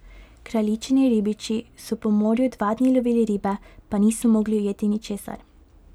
Kraljičini ribiči so po morju dva dni lovili ribe, pa niso mogli ujeti ničesar.